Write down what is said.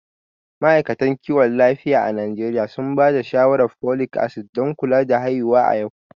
Ma’aikatan kiwon lafiya a Najeriya sun ba da shawarar folic acid don kula da haihuwa a yau.